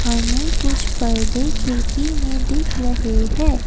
हमें कुछ पर्दे खिड़की में दिख रहे है।